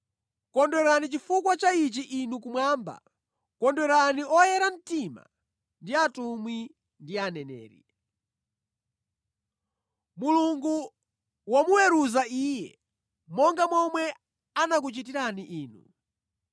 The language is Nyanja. “Kondwerani chifukwa cha iye inu kumwamba! Kondwerani oyera mtima ndi atumwi ndi aneneri! Mulungu wamuweruza iye monga momwe anakuchitirani inu.”